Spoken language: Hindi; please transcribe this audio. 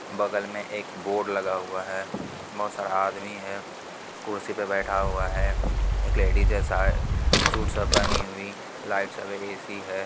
बगल में एक बोर्ड लगा हुआ है बहुत सारा आदमी है कुर्सी पे बैठा हुआ है एक लेडिज है शायद सूट सब पहनी हुई लाइट सब ए.सी. है।